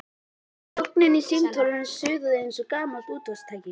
Þögnin í símtólinu suðaði eins og gamalt útvarpstæki.